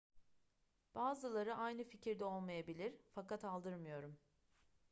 bazıları aynı fikirde olmayabilir fakat aldırmıyorum